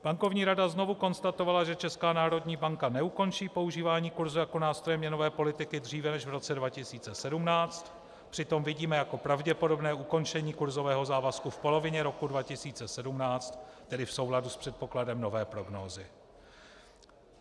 Bankovní rada znovu konstatovala, že Česká národní banka neukončí používání kurzu jako nástroje měnové politiky dříve než v roce 2017, přitom vidíme jako pravděpodobné ukončení kurzového závazku v polovině roku 2017, tedy v souladu s předpokladem nové prognózy.